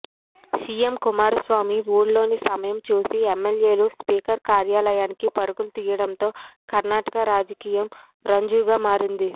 CM Kumaraswamy వూళ్లోలేని సమయం చూసి ఎమ్మెల్యేలు స్పీకర్ కార్యాలయానికి పరుగులు తీయడంతో కర్ణాటక రాజకీయం రంజుగా మారింది